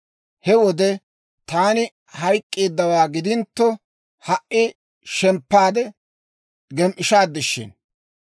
He wode taani hayk'k'eeddawaa gidintto, ha"i shemppaade gem"ishaad shin!